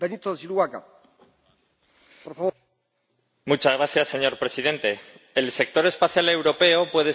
Señor Presidente, el sector espacial europeo puede ser de gran utilidad para la sociedad o puede no serlo.